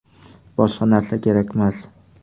Boshqa narsa kerakmas.